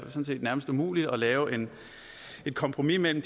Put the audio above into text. nærmest umuligt at lave et kompromis mellem